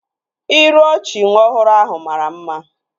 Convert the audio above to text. Iru ọchị nwa ọhụrụ ahụ mara mma